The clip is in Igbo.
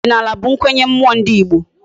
Odinala bu nkwenye mmuo ndi igbo